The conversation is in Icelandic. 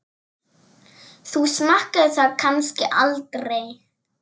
Þú smakkar það kannski aldrei?